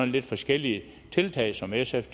lidt forskellige tiltag som sf